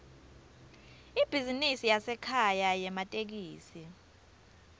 ibhizinisi yasekhaya yematekisi